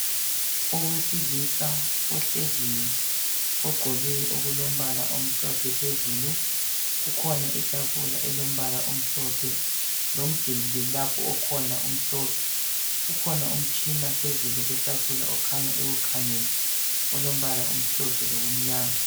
Owesilisa ohleziyo ogqoke okulombala omhlophe phezulu kukhona itafula elombala omhlophe lomduli lapho okhona umhlophe kukhona umtshina phezulu kwetafula okhanya ewukhangele olombala omhlophe lokumnyama